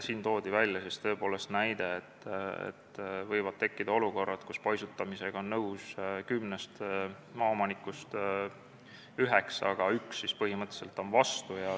Toodi näide, et võib tekkida olukord, kus paisutamisega on nõus kümnest maaomanikust üheksa, üks on vastu.